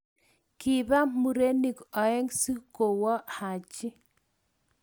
Kiba murenik oeng si kowo Haji.